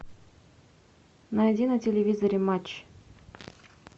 найди на телевизоре матч